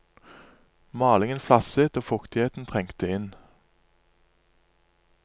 Malingen flasset og fuktighet trengte inn.